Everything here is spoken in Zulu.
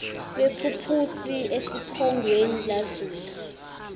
kwephuphusi esiphongweni lazula